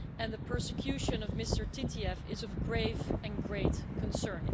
The persecution of Mr Titiev is of grave and great concern.